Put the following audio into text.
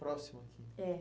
Próximo aqui. É.